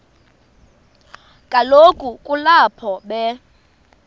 kaloku kulapho be